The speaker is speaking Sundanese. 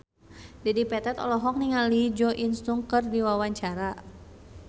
Dedi Petet olohok ningali Jo In Sung keur diwawancara